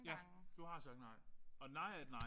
Ja. Du har sagt nej. Og nej er et nej